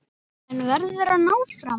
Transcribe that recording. En verður hann áfram?